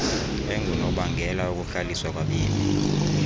engunobangela wokuhlaliswa kwabemi